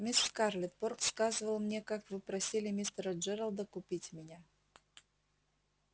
мисс скарлетт порк сказывал мне как вы просили мистера джералда купить меня